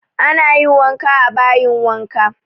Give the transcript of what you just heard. Ana yin wanka a bayin wanka